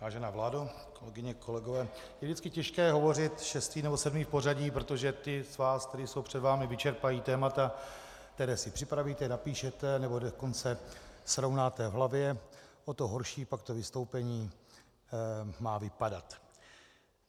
Vážená vládo, kolegyně, kolegové, je vždycky těžké hovořit šestý nebo sedmý v pořadí, protože ti z vás, kteří jsou před vámi, vyčerpají témata, která si připravíte, napíšete, nebo dokonce srovnáte v hlavě, o to horší pak to vystoupení má vypadat.